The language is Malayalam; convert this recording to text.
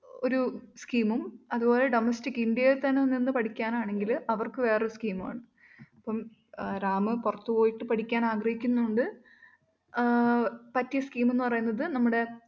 ഒരു scheme ഉം അതുപോലെ domestic ഇന്ത്യയിൽ നിന്ന് തന്നെ പഠിക്കാനാണെങ്കിൽ അവർക്ക് വേറൊരു scheme മുമാണ് അപ്പം റാമ് പുറത്തുപോയിട്ട് പഠിക്കാൻ ആഗ്രഹിക്കുന്നതുകൊണ്ട് ആഹ് പറ്റിയ scheme എന്ന് പറയുന്നത് നമ്മുടെ